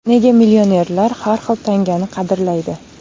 Nega millionerlar har bir tangani qadrlaydi?.